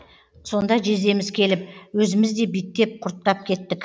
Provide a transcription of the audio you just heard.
сонда жездеміз келіп өзіміз де биттеп құрттап кеттік